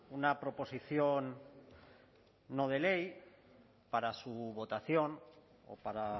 una proposición no de ley para su votación o para